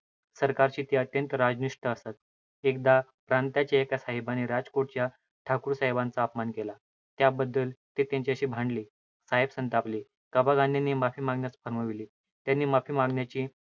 सरकारशी ते अत्यंत राजनिष्ठ असत. एकदा प्रांताच्या एका साहेबाने राजकोटच्या ठाकूरसाहेबांचा अपमान केला. त्याबद्दल ते त्यांच्याशी भांडले. साहेब संतापले. कबा गांधीना माफी मागण्यास फर्माविले. त्यांनी माफी मागण्याचे